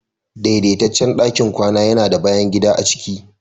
daidaitaccen ɗakin kwana yana da bayan gida a ciki